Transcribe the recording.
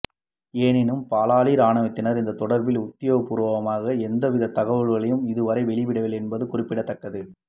எனினும் பலாலி இராணுவத்தினர் இது தொடர்பில் உத்தியோகபூர்வமாக எந்தவித தகவல்களையும் இதுவரை வெளியிடவில்லை என்பது குறிப்பிடத்தக்கது